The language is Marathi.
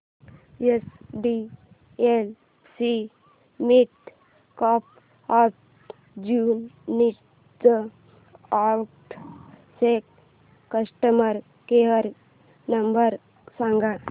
एचडीएफसी मिडकॅप ऑपर्च्युनिटीज फंड चा कस्टमर केअर नंबर सांग